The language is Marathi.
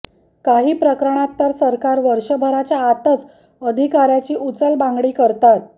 काही प्रकरणात तर सरकार वर्षभराच्या आतच अधिकाऱ्याची उचलबांगडी करतात